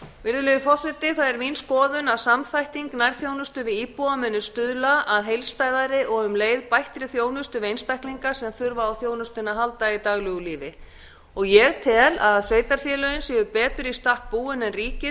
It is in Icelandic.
virðulegur forseti það er mín skoðun að samþætting nærþjónustu við íbúa muni stuðla að heildstæðari og um leið bættri þjónustu við einstaklinga sem þurfa á þjónustunni að halda í daglegu lífi og ég tel að sveitarfélögin séu betur í stakk búin en ríkið